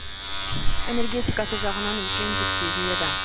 энергетикасы жағынан үлкен жүк сезіледі